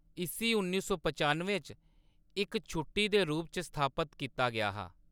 इस्सी उन्नी सौ पचानुएं च इक छुट्टी दे रूप च स्थापत कीता गेआ हा।